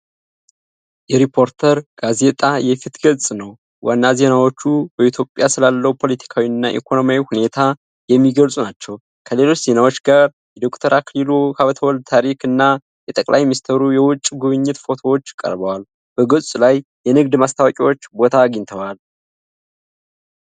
የሪፖርተር ጋዜጣ የፊት ገጽ ነው። ዋና ዜናዎች በኢትዮጵያ ስላለው ፖለቲካዊና ኢኮኖሚያዊ ሁኔታ የሚገልጹ ናቸው። ከሌሎች ዜናዎች ጋር የዶ/ር አክሊሉ ሀብተወልድ ታሪክ እና የጠቅላይ ሚኒስትሩ የውጭ ጉብኝት ፎቶዎች ቀርበዋል። በገጹ ላይ የንግድ ማስታወቂያዎች ቦታ አግኝተዋል።